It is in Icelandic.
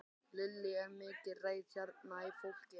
Lillý: Er mikil reiði hérna í fólki?